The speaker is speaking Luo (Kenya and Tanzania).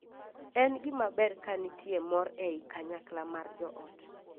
En gima ber ka nitie mor ei kanyakla mar joot.